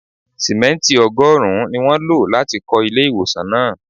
Simẹnti ọgọ́rùn-ún ni wọ́n lo láti kọ ilé ìwòsàn náà.